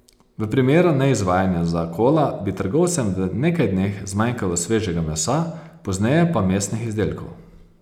V primeru neizvajanja zakola bi trgovcem v nekaj dneh zmanjkalo svežega mesa, pozneje pa mesnih izdelkov.